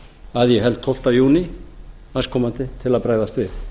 að ég held tólfta júní næstkomandi til að bregðast við